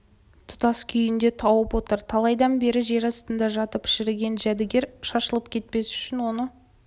жолы тұтас күйінде тауып отыр талайдан бері жер астында жатып шіріген жәдігер шашылып кетпес үшін оны